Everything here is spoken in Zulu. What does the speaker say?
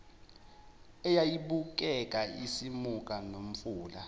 eyayibukeka isimuka nomfula